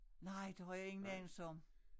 Nej det har jeg ingen anelse om